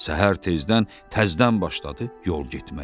Səhər tezdən təzdən başladı yol getməyə.